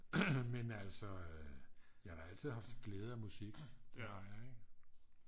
men altså jeg har da altid haft glæde af musik det har jeg ik